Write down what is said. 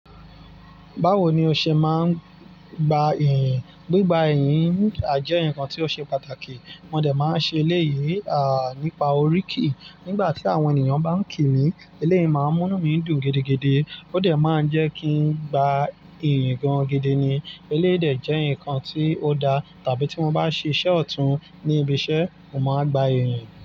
Báwo ni o ṣe máa ń gba iyìǹ? Gbigba iyìǹ jẹ́ ǹkan tí ó ṣe pàtàkì. Mo dè máa ń ṣe eléyìí, nípa oríkì. Nígbà tí àwọn ènìyàn bá ń kí mi, eléyìí máa ń múnú mi dùn gidigidi. Ó dè máa ń jẹ́ kí ń gba ìyìn gan gidi ni. Eléyìí dè jẹ́ ǹkan tí ó da. Tàbí tí mo bá ṣe iṣẹ́ ọ̀tún ní ibi iṣẹ́, mo máa ń gba ìyìn.